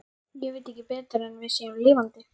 Ég veit ekki betur en við séum lifandi.